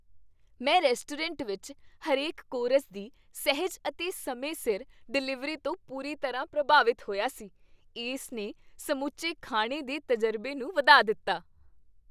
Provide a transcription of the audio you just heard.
ਮੈਂ ਰੈਸਟੋਰੈਂਟ ਵਿੱਚ ਹਰੇਕ ਕੋਰਸ ਦੀ ਸਹਿਜ ਅਤੇ ਸਮੇਂ ਸਿਰ ਡਿਲੀਵਰੀ ਤੋਂ ਪੂਰੀ ਤਰ੍ਹਾਂ ਪ੍ਰਭਾਵਿਤ ਹੋਇਆ ਸੀ, ਇਸ ਨੇ ਸਮੁੱਚੇ ਖਾਣੇ ਦੇ ਤਜ਼ਰਬੇ ਨੂੰ ਵਧਾ ਦਿੱਤਾ।